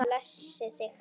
Blessi þig.